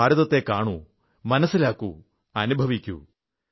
നിങ്ങൾ ഭാരതത്തെ കാണു മനസ്സിലാക്കൂ അനുഭവിക്കൂ